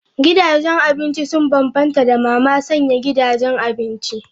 Gidajen abinci sun bambanta da mama sanya gidajen abinci.